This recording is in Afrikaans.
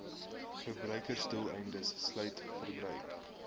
verbruiksdoeleindes sluit verbruik